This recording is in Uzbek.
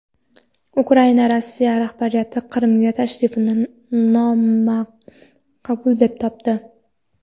Ukraina Rossiya rahbariyatining Qrimga tashrifini nomaqbul deb topdi.